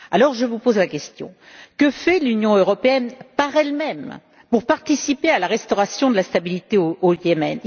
Je vous pose donc la question suivante, que fait l'Union européenne, par elle même, pour participer à la restauration de la stabilité au Yémen?